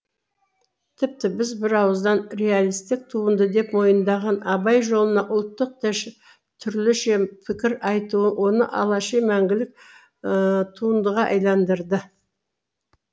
тіпті біз бір ауыздан реалистік туынды деп мойындаған абай жолына ұлттық түрлінше пікір айтуы оны алаши мәңгілік туындыға айландырды